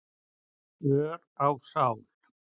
ör á sál.